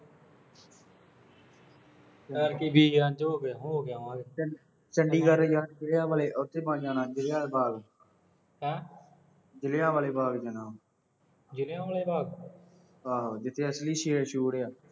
ਯਾਰ ਐਤਕੀਂ ਚ ਹੋ ਕੇ ਆਵਾਂਗੇ। ਚੰਡੀਗੜ੍ਹ ਉਥੇ ਹੋ ਕੇ ਆਣਾ, ਜ਼ਿਲ੍ਹਿਆ ਆਲਾ ਬਾਗ਼। ਹੈਂ। ਜ਼ਿਲ੍ਹਿਆ ਵਾਲੇ ਬਾਗ਼ ਜਾਣਾ। ਜ਼ਿਲ੍ਹਿਆ ਵਾਲੇ ਬਾਗ਼। ਹਾਂ ਜਿੱਥੇ ਅਸਲੀ ਸ਼ੇਰ ਸ਼ੂਰ ਆ।